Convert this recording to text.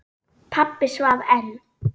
Pabbi svaf enn.